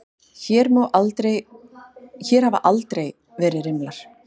Hér hafa aldrei verið rimlar.